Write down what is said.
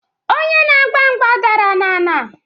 Onye na-agba mgba dara n'ana.